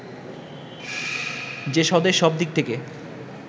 যে স্বদেশ সব দিক থেকে